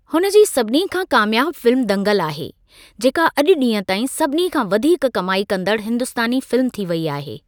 हुन जी सभिनी खां कामियाब फिल्म दंगल आहे, जेका अॼु ॾींहं ताईं सभिनी खां वधीक कमाई कंदड़ु हिंदुस्तानी फिल्म थी वेई आहे।